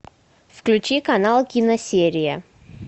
включи канал киносерия